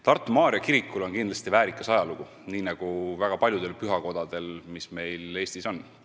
Tartu Maarja kirikul on kindlasti väärikas ajalugu, nii nagu väga paljudel pühakodadel, mis meil Eestis on.